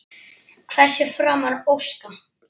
Hvers er framar að óska?